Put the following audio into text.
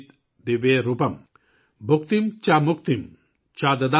भुक्तिम् च मुक्तिम् च ददासि नित्यम्,